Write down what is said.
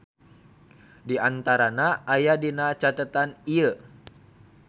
Diantarana aya dina catetan ieu.